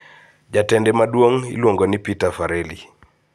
Jatende maduong` ne iluongo ni Peter Farelly.